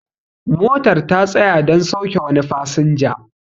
motar ta tsaya don sauke wani fasinja